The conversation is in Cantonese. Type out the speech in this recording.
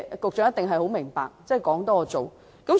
局長一定明白，政府說比做多。